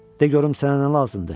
De görüm sənə nə lazımdır?